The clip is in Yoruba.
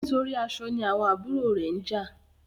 Nítorí aṣọ ní àwọn àbúrò rẹ njà